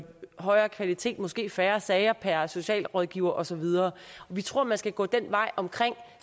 højere kvalitet og måske færre sager per socialrådgiver og så videre vi tror at man skal gå den vej